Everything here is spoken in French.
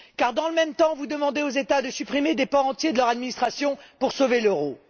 Car, dans le même temps, vous demandez aux États de supprimer des pans entiers de leur administration pour sauver l'euro.